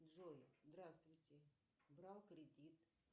джой здравствуйте брал кредит